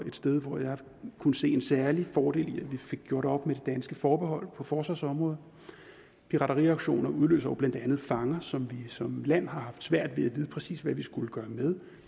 et sted hvor jeg kunne se en særlig fordel i at vi fik gjort op med det danske forbehold på forsvarsområdet pirateriaktioner udløser jo blandt andet fanger som vi som land har haft svært ved at vide præcis hvad vi skulle gøre med